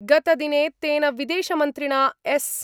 गतदिने तेन विदेशमन्त्रिणा एस् .